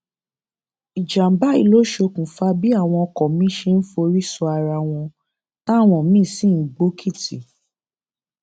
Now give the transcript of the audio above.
ìjàmbá yìí ló ṣokùnfà bí àwọn ọkọ miín ṣe ń forí sọ ara wọn táwọn míín sì ń gbòkìtì